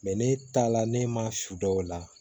ne taala ne ma su dɔ la